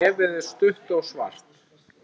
Nefið er stutt og svart.